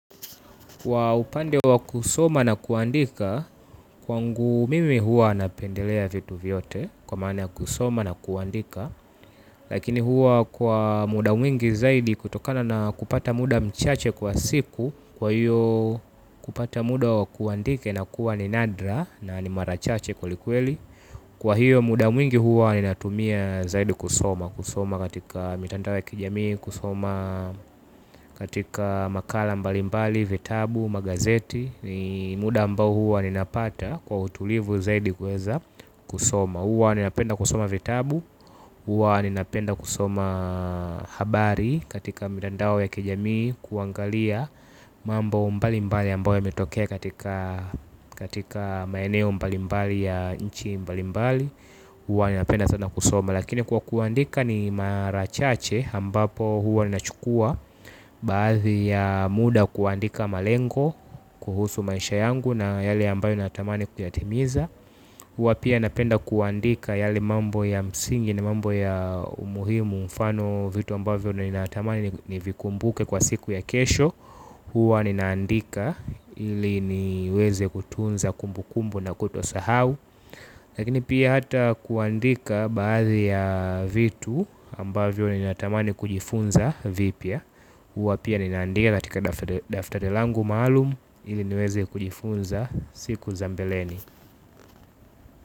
Waupande wa kusoma na kuandika kwangu mimi hua napendelea vitu vyote kwa maana kusoma na kuandika. Lakini hua kwa muda mwingi zaidi kutokana na kupata muda mchache kwa siku. Kwa hiyo kupata muda wa kuandike inakuwa ni nadra na ni mara chache kweli kweli. Kwa hiyo muda mwingi hua ninatumia zaidi kusoma. Kusoma katika mitandao ya kijamii kusoma katika makala mbalimbali, vitabu, magazeti muda ambao huwa ninapata kwa utulivu zaidi kweza kusoma huwa ninapenda kusoma vitabu. Huwa ninapenda kusoma habari katika mitandao ya kijamii. Kuangalia mambo mbalimbali ambao yametokea katika maeneo mbalimbali ya inchi mbalimbali huwa ninapenda sana kusoma lakini kwa kuandika ni marachache hambapo huwa nina chukua baadhi ya muda kuandika malengo kuhusu maisha yangu na yale ambayo natamani kuyatimiza huwa pia napenda kuandika yale mambo ya msingi na mambo ya umuhimu mfano vitu ambavyo ninatamani nivikumbuke kwa siku ya kesho huwa ninaandika ili niweze kutunza kumbu kumbu na kutosahau. Lakini pia hata kuandika baadhi ya vitu ambavyo nina tamani kujifunza vipia uwa pia ninaandika katika daftari langu malum ili niweze kujifunza siku za mbeleni.